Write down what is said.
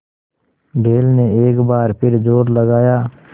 बैल ने एक बार फिर जोर लगाया